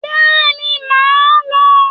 Bẹ́ẹ̀ màá lọ